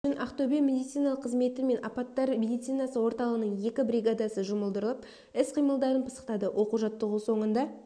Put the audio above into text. үшін ақтөбе медициналық қызметі мен апаттар медицинасы орталығының екі бригадасы жұмылдырылып іс-қимылдарын пысықтады оқу-жаттығу соңында